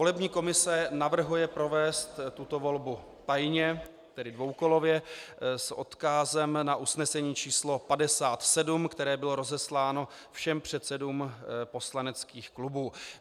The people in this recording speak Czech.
Volební komise navrhuje provést tuto volbu tajně, tedy dvoukolově s odkazem na usnesení číslo 57, které bylo rozesláno všem předsedům poslaneckých klubů.